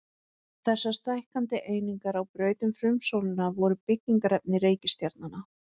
Þessar stækkandi einingar á braut um frumsólina voru byggingarefni reikistjarnanna.